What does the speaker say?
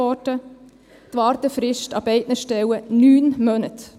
Die Wartefrist an beiden Stellen: 9 Monate.